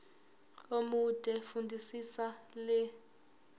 omude fundisisa le